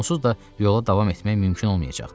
Onsuz da yola davam etmək mümkün olmayacaqdı.